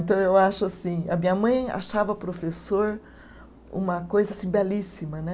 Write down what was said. Então, eu acho assim, a minha mãe achava professor uma coisa assim belíssima, né?